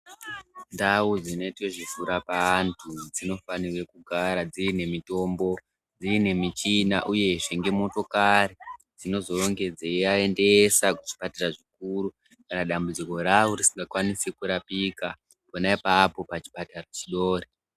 Ndau dzinoitwe zvekurapa antu dzinofanirwe kugara dziine mitombo, dziine michina uyezve nemotokari dzinozonge dzeiaendese kuzvipatara zvikuru kana dambudziko ravo risingakwanisi kurapika pona apapo pachipatara chidori.